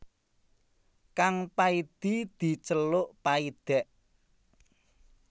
Kang Paidi diceluk Paidèk